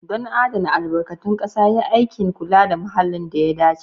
Don adana albarkatun ƙasa, yi aikin kula da muhalli da ya dace.